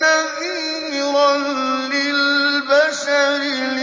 نَذِيرًا لِّلْبَشَرِ